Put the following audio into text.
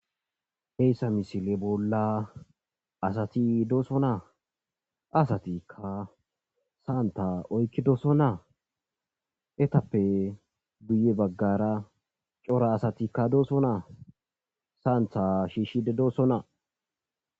heyssa misile bolla asati dooso naa asatikka saanta oykkidooso naa etappe guye baggara cora asatikka dooso naa saantha shiishshide doosonnaa